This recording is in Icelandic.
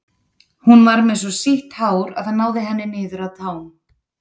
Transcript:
Hún var með svo sítt hár að það náði henni niður að tám.